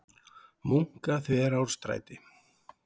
Munkaþverárstræti